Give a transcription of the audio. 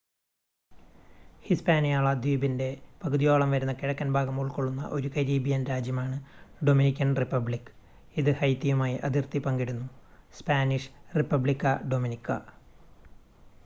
Hispaniola ദ്വീപിന്റെ പകുതിയോളം വരുന്ന കിഴക്കൻ ഭാഗം ഉൾക്കൊള്ളുന്ന ഒരു കരീബിയൻ രാജ്യമാണ് ഡൊമിനിക്കൻ റിപ്പബ്ലിക് ഇത് ഹൈതിയുമായി അതിർത്തി പങ്കിടുന്നു. സ്പാനിഷ്: റിപ്പബ്ലിക്ക ഡൊമിനിക്ക